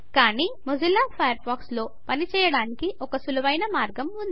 కానీ Mozilla Firefox లో పని చేయడానికి ఒక సులువైన మార్గం ఉంది